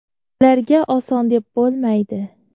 Ularga oson deb bo‘lmaydi.